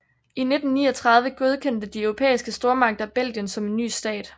I 1839 godkendte de europæiske stormagter Belgien som en ny stat